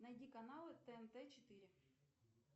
найди каналы тнт четыре